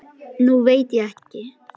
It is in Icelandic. Nú veit ég ekki.